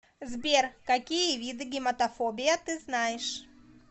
сбер какие виды гематофобия ты знаешь